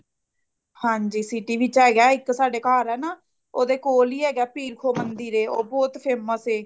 ਹਾਂਜੀ city ਵਿੱਚ ਹੈਗਾ ਇੱਕ ਸਾਡੇ ਘਰ ਹੈ ਨਾ ਉਹਦੇ ਕੋਲ ਹੀ ਹੈਗਾ ਪੀਰ ਖੋ ਮੰਦਿਰ ਏ ਉਹ ਬਹੁਤ famous ਏ